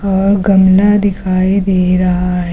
और गमला दिखाई दे रहा है।